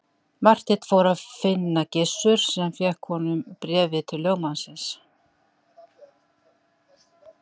Marteinn fór að finna Gizur sem fékk honum bréfið til lögmannsins.